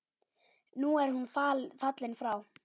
Nú er hún fallin frá.